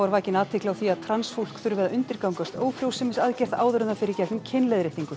vakin athygli á því að transfólk þurfi að undirgangast ófrjósemisaðgerð áður en það fer í gegnum kynleiðréttingu